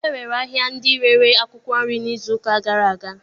E nwere ahịa ndị rere akwụkwọ nri n'izuụka gara aga